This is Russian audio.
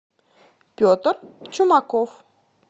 петр чумаков